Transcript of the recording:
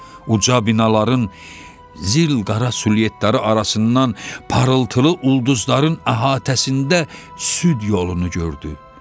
Uca binaların zilqara sülyetlərı arasından parıltılı ulduzların əhatəsində süd yolunu gördü.